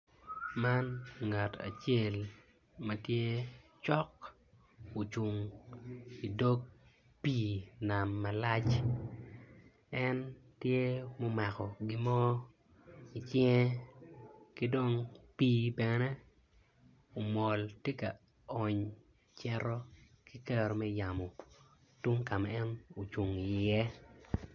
Man nagt acel ma tye ocung cok idog pii nam malac en tye omako gimo icinge ki dong pii bene omol tye ka ony ceto ki kero me yamo tong ka ma en ocung iye.